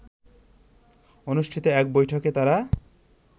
অনুষ্ঠিত এক বৈঠকে তারা